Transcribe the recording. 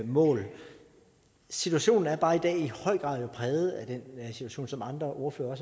mål situationen er bare i dag i høj grad præget af den situation som andre ordførere